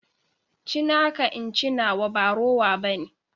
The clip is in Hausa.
Ci naka in ce nawa ba rowa ɓane.